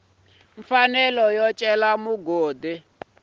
mfanelo yo cela mugodi u